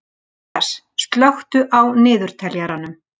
Matthías, slökktu á niðurteljaranum.